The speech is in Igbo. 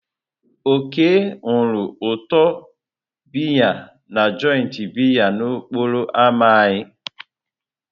Oke nụrụ ụtọ biya na joịtị biya n'okporo ámá anyị.